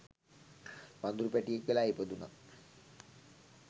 වඳුරු පැටියෙක් වෙලා ඉපදුණා.